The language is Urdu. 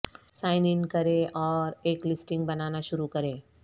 سائن ان کریں اور ایک لسٹنگ بنانا شروع کریں